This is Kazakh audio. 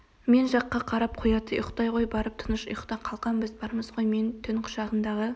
мен жаққа қарап қояды ұйықтай ғой барып тыныш ұйықта қалқам біз бармыз ғой мен түн құшағындағы